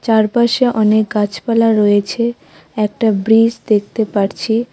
চারপাশে অনেক গাছপালা রয়েছে একটা ব্রিজ দেখতে পারছি।